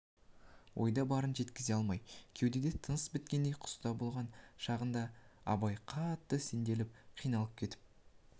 ойда барын жеткізе алмай кеудеде тыныс біткендей құста болған шағында абай қатты сенделіп қиналып кетіп